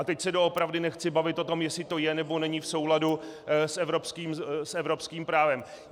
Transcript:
A teď se doopravdy nechci bavit o tom, jestli to je, nebo není v souladu s evropským právem.